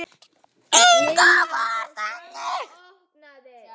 Inga var þannig.